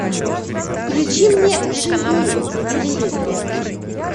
включи мне живи на телевизоре